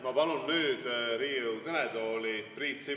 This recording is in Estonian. Ma palun nüüd Riigikogu kõnetooli Priit Sibula.